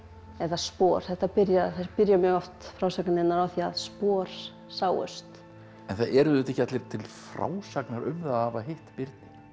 eða spor það byrja byrja mjög oft frásagnirnar á því að spor sáust en það eru auðvitað ekki allir til frásagnar um það að hafa hitt birni